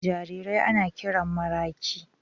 jarirai ana kiran maraƙi.